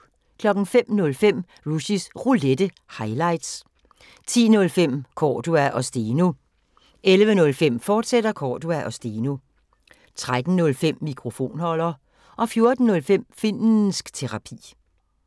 05:05: Rushys Roulette – highlights 10:05: Cordua & Steno 11:05: Cordua & Steno, fortsat 13:05: Mikrofonholder 14:05: Finnsk Terapi